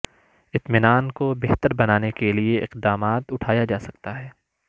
اطمینان کو بہتر بنانے کے لئے اقدامات اٹھایا جا سکتا ہے